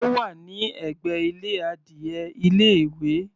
Ó wà ní ẹ̀gbẹ́ ilé adìe ilé ìwé.